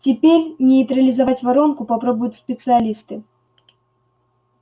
теперь нейтрализовать воронку попробуют специалисты